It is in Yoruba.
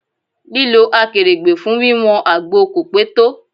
Lílọ Akèrègbè fún wí wọn àgbo kò pé tó.